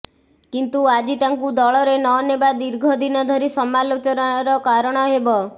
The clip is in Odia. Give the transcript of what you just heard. କିନ୍ତୁ ଆଜି ତାଙ୍କୁ ଦଳରେ ନନେବା ଦୀର୍ଘ ଦିନଧରି ସମାଲୋଚନାର କାରଣ ହେବ